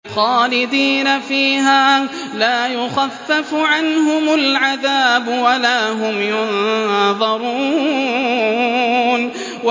خَالِدِينَ فِيهَا ۖ لَا يُخَفَّفُ عَنْهُمُ الْعَذَابُ وَلَا هُمْ يُنظَرُونَ